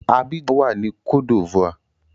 Abidjan wà ní cote d'Ivoire.